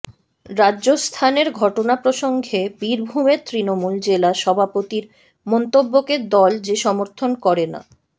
রাজস্থানের ঘটনা প্রসঙ্গে বীরভূমের তৃণমূল জেলা সভাপতির মন্তব্যকে দল যে সমর্থন করে না